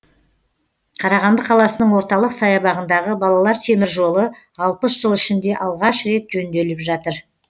қарағанды қаласының орталық саябағындағы балалар теміржолы алпыс жыл ішінде алғаш рет жөнделіп жатыр